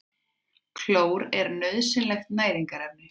Klór er nauðsynlegt næringarefni.